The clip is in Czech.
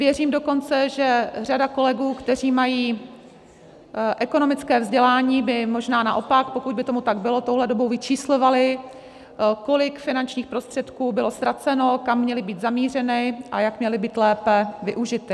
Věřím dokonce, že řada kolegů, kteří mají ekonomické vzdělání, by možná naopak, pokud by tomu tak bylo, touhle dobou vyčíslovala, kolik finančních prostředků bylo ztraceno, kam měly být zamířeny a jak měly být lépe využity.